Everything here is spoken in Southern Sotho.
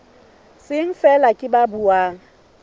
seng feela ke ba buang